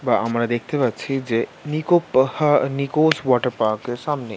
বা আমরা দেখতে পাচ্ছি যে নিক্কো পাহা নিক্কো ওয়াটার পার্ক সামনে--